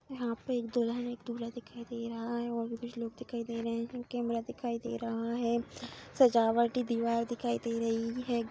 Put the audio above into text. यहां पे एक दुल्हन एक दूल्हा दिखाई दे रहा है और भी कुछ लोग दिखाई दे रहे हैं कैमरा दिखाई दे रहा है सजावटी दीवार दिखाई दे रही है।